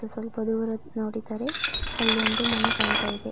ಸ್ವಲ್ಪ ದೂರ ನೋಡಿದರೆ ಅಲ್ಲಿ ಒಂದು ಮನೆ ಕಾಣ್ತಾ ಇದೆ